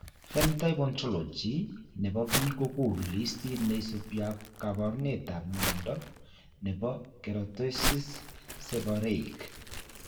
Phenotype Ontology ne po biik ko konu listiit ne isubiap kaabarunetap mnyando ne po Keratosis, seborrheic.